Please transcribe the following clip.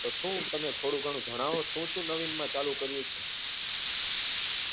તો શું તમે થોડું ઘણું જણાવો શું શું નવીન માં ચાલુ કર્યું છે